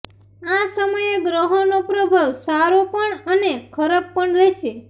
આ સમયે ગ્રહોનો પ્રભાવ સારો પણ અને ખરાબ પણ રહેશે